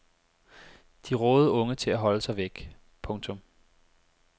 De rådede unge til at holde sig væk. punktum